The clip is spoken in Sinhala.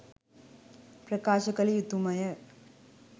ප්‍රකාශ කළ යුතු ම ය